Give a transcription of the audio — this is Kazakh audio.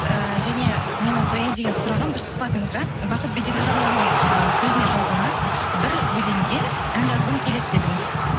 ііі және менің қояйын деген сұрағым бір сұхбатыңызда бахыт беделханұлының ыыы сөзіне жазылған бір өлеңге ән жазғым келеді дедіңіз